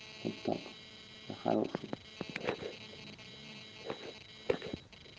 хороший